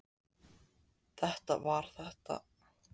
Það var þetta fyrirbæri sem nefnt hefur verið karlmaður.